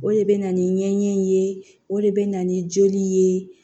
O de bɛ na ni ɲɛɲɛ in ye o de bɛ na ni joli ye